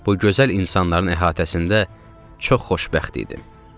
Bu gözəl insanların əhatəsində çox xoşbəxt idim.